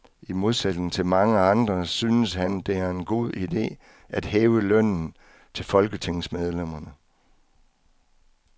I modsætning til mange andre synes han, det er en god ide at hæve lønnen til folketingsmedlemmerne.